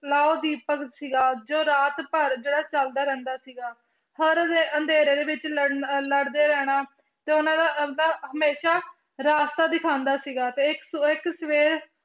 ਦੀਪਕ ਸੀਗਾ ਜੋ ਰਾਤ ਭਰ ਜਿਹੜਾ ਚੱਲਦਾ ਰਹਿੰਦਾ ਸੀਗਾ ਹਰ ਰੇ~ ਅੰਧੇਰੇ ਦੇ ਵਿੱਚ ਲੜਨ~ ਲੜਦੇ ਰਹਿਣਾ ਤੇ ਉਹਨਾਂ ਦਾ ਹਮੇਸ਼ਾ ਰਾਸਤਾ ਦਿਖਾਉਂਦਾ ਸੀਗਾ ਤੇ ਇੱਕ ਸ~ ਇੱਕ ਸਵੇਰ